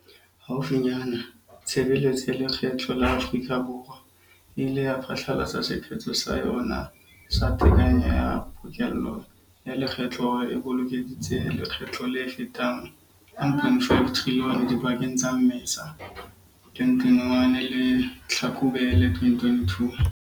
Haufinyane, Tshebe letso ya Lekgetho la Afrika Borwa e ile ya phatlalatsa sephetho sa yona sa tekanyo ya pokello ya lekgetho hore e bokeleditse lekgetho le fetang R1.5 trilione dipakeng tsa Mmesa 2021 le Tlhakubele 2022.